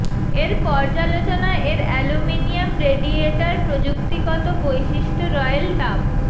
এর পর্যালোচনা এর অ্যালুমিনিয়াম রেডিয়েটার প্রযুক্তিগত বৈশিষ্ট্য রয়েল তাপ